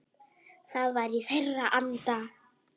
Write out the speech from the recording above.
Það var í þeirra anda.